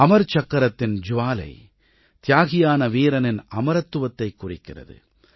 அமர் சக்கரத்தின் ஜ்வாலை தியாகியான வீரனின் அமரத்துவத்தைக் குறிக்கிறது